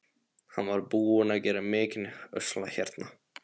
Hann var búinn að gera mikinn usla hérna.